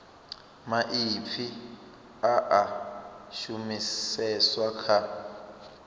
maipfi a a shumiseswa kha